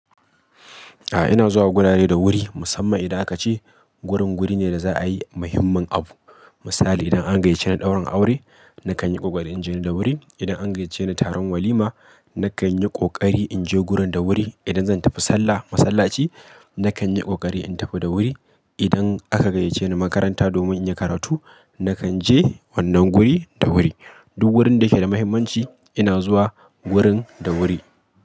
A'a ina zuwa wurare da wuri musamman idan aka ce wurin wuri ne da za'a yi muhimmin abu. Misali idan an gayyace ni ɗaurin aure nakan yi ƙoƙari in je da wuri. Idan an gayyace ni taron walima nakan yi ƙoƙari in je gurin da wuri. Idan zan tafi sallah masallaci nakan yi ƙoƙari in tafi da wuri. Idan aka gayyace ni makaranta domin in yi karatu nakan je wannan wuri da wuri. Duk wurin da yake da muhimmanci ina zuwa wurin da wuri.